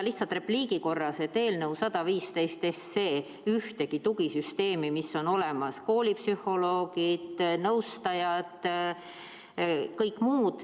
Lihtsalt repliigi korras lisan, et eelnõu 115 ei kaota ära ühtegi tugisüsteemi, mis juba on olemas – koolipsühholoogid, nõustajad, kõik muu.